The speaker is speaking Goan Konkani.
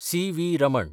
सी.वी. रमण